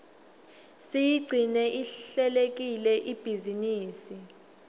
siyigcine ihlelekile ibhizinisi